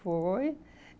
Foi.